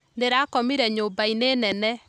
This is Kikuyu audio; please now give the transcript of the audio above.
Ndĩrakomire nyũmbainĩ nene